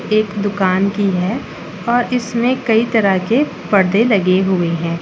एक दुकान की है और इसमें कई तरह के परदे लगे हुए हैं।